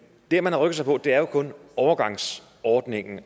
det man har rykket sig på er jo kun overgangsordningen